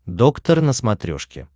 доктор на смотрешке